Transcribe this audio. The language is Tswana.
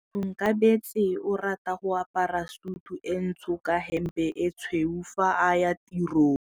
Onkabetse o rata go apara sutu e ntsho ka hempe e tshweu fa a ya tirong.